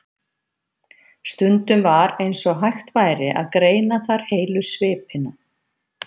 Stundum var eins og hægt væri að greina þar heilu svipina.